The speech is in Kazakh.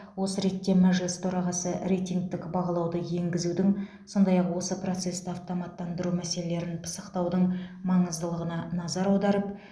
осы ретте мәжіліс төрағасы рейтингтік бағалауды енгізудің сондай ақ осы процесті автоматтандыру мәселелерін пысықтаудың маңыздылығына назар аударып